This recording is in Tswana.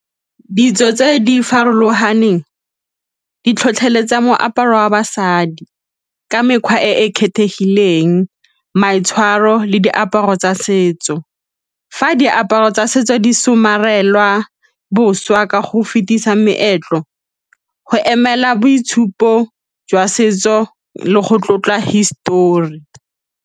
Ditso tse di farologaneng di tlhotlheletsa moaparo wa basadi ka mekgwa e e kgethegileng, maitshwaro le diaparo tsa setso. Fa diaparo tsa setso di somarelwa boswa ka go fetisa meetlo, go emela boitshupo jwa setso le go tlotla histori.